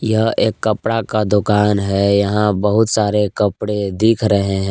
यह एक कपड़ा का दुकान है यहां बहुत सारे कपड़े दिख रहे हैं।